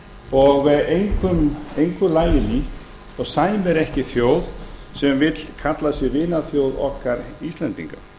og engu lagi lík og sæmir ekki þjóð sem vill kalla sig vinaþjóð okkar íslendinga